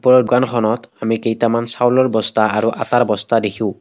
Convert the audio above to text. ওপৰৰ দোকানখনত আমি কেইটামান চাউলৰ বস্তা আৰু আটাৰ বস্তা দেখোঁ।